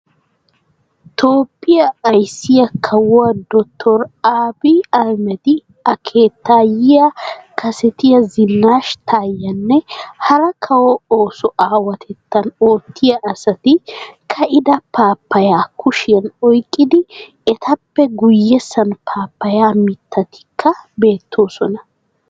Toophphiya Ayssiyaa kawuwaa dotor Abiyi Ahimedi A keettayiyaa kassetiya Zinash Tayenne hara kawo ooso awaatettan oottiyaa asati ka"ida pappaya kushiyan oyqqidi ettappe guyessan pappaya mitattikka beettoosona.